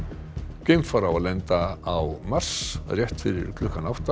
geimfar á að lenda á Mars rétt fyrir klukkan átta